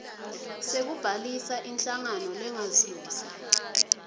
sekubhalisa inhlangano lengazuzi